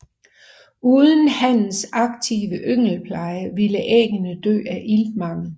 Uden hannens aktive yngelpleje ville æggene dø af iltmangel